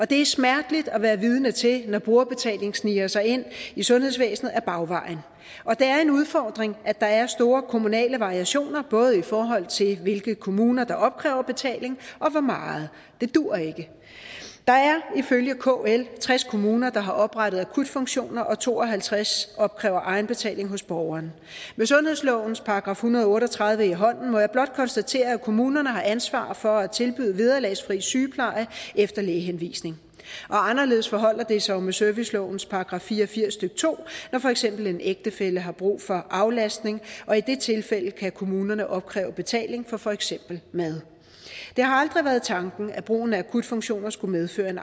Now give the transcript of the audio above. det er smerteligt at være vidne til når brugerbetaling sniger sig ind i sundhedsvæsenet ad bagvejen og det er en udfordring at der er store kommunale variationer både i forhold til hvilke kommuner der opkræver betaling og hvor meget det duer ikke der er ifølge kl tres kommuner der har oprettet akutfunktioner og to og halvtreds opkræver egenbetaling hos borgeren med sundhedslovens § en hundrede og otte og tredive i hånden må jeg blot konstatere at kommunerne har ansvar for at tilbyde vederlagsfri sygepleje efter lægehenvisning anderledes forholder det sig jo med servicelovens § fire og firs stykke to når for eksempel en ægtefælle har brug for aflastning og i det tilfælde kan kommunerne opkræve betaling for for eksempel mad det har aldrig været tanken at brugen af akutfunktioner skulle medføre en